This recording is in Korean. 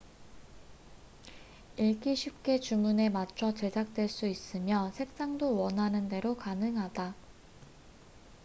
읽기 쉽게 주문에 맞춰 제작될 수 있으며 색상도 원하는 대로 가능하다